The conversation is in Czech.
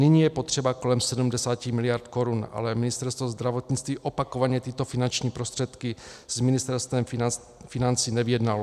Nyní je potřeba kolem 70 miliard korun, ale Ministerstvo zdravotnictví opakovaně tyto finanční prostředky s Ministerstvem financí nevyjednalo.